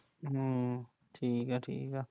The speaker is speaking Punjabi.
ਹਮ, ਠੀਕ ਐ ਠੀਕ ਐ